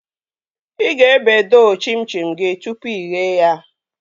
Ị ga-ebe doo chim chim gị tụpụ ighe ya